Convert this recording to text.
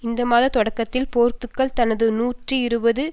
இந்த மாதத் தொடக்கத்தில் போர்த்துக்கல் தனது நூற்றி இருபது